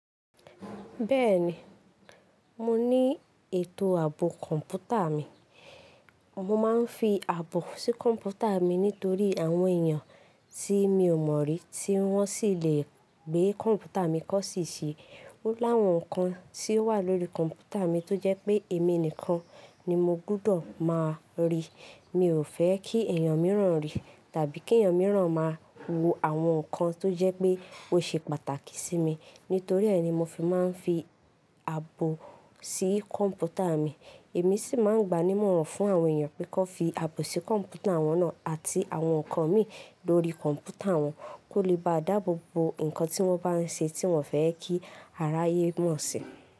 Bẹ́ẹ̀ni, mo ní ètò àbọ̀ kọ̀ǹpútà mi. Mo máa ń fi àbọ̀ sí kọ̀ǹpútà mi nítorí àwọn èèyàn tí mi ò mọ̀ rí tí wọ́n sì lè gbé kọ̀ǹpútà mi kọ́ ṣì ṣe. Ó láwọn nǹkan tí ó wà lórí kọ̀ǹpútà mi tó jẹ́ pé èmi nìkan ni mo gbọ́dọ̀ máa rí. Mi ò fẹ́ kí ẹ̀yàn mìíràn rí tàbí kí ẹ̀yàn mìíràn máa wo àwọn nǹkan tó jẹ́ pé ó ṣe pàtàkì sí mi. Nítorí ẹ́ ni mo fi máa ń fi àbọ̀ sí kọ̀ǹpútà mi. Èmi sì máa ń gba ní ìmọ̀ràn fún àwọn èèyàn pé kí wọ́n fi àbọ̀ sí kọ̀ǹpútà wọn náà àti àwọn nǹkan mi lórí kọ̀ǹpútà wọn kó lè ba à dáàbò bo nǹkan tí wọ́n bá ń ṣe tí wọ́n fẹ́ kí aráyé mọ̀ sí.